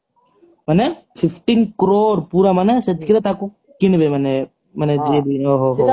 ମାନେ fifteen crore ପୁରା ମାନେ ସେତିକି ରେ ମାନେ ତାକୁ କିଣିବେ ମାନେ ମାନେ ଜିଏବି ଓହୋହୋ